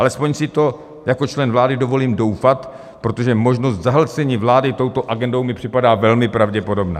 Alespoň si v to jako člen vlády dovolím doufat, protože možnost zahlcení vlády touto agendou mi připadá velmi pravděpodobná.